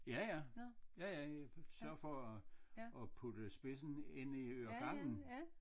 Ja ja ja ja jeg sørger for at at putte spidsen ind i øregangen